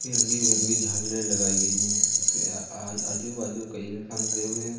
फिरंगी विरंगी झालरें लगायी गयी हैं और आजू बाजू कई इंसान खड़े हुए है।